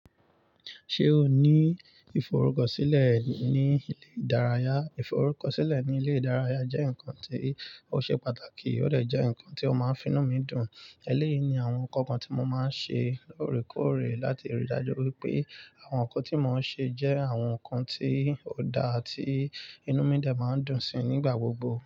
Ṣé o ní ìforúkọ sílẹ̀ ní ilé ìdárayá? Ìforúkọ sílẹ̀ ní ilé ìdárayá jẹ́ ǹnkan tí ó ṣe pàtàkì, ó dè jẹ́ ǹnkan tí ó máa ń fínú mi dùn. Èléyìí ni àwọn ǹnkan kan tí mo máa ń ṣe lóòrèkóòrè láti rí i dájú wípé àwọn ǹnkan tí mo ń ṣe jẹ́ àwọn ǹnkan tí ó dáa tí inú mi de máa ń dùn síi nígbà gbogbo.